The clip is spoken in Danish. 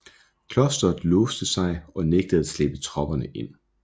Klosteret låste sig og nægtede at slippe tropperne ind